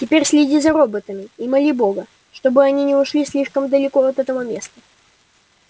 теперь следи за роботами и моли бога чтобы они не ушли слишком далеко от этого места